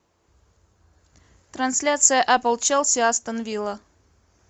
трансляция апл челси астон вилла